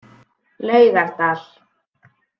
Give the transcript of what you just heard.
Laugardal